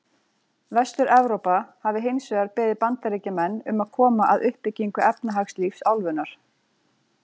Vestur-Evrópa hafi hins vegar beðið Bandaríkjamenn um að koma að uppbyggingu efnahagslífs álfunnar.